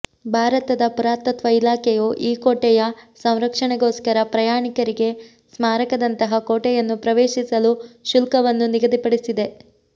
ಭಾರತದ ಪುರಾತತ್ವ ಇಲಾಖೆಯು ಈ ಕೋಟೆಯ ಸಂರಕ್ಷಣೆಗೋಸ್ಕರ ಪ್ರಯಾಣಿಕರಿಗೆ ಸ್ಮಾರಕದಂತಹ ಕೋಟೆಯನ್ನು ಪ್ರವೇಶಿಸಲು ಶುಲ್ಕವನ್ನು ನಿಗದಿಪಡಿಸಿದೆ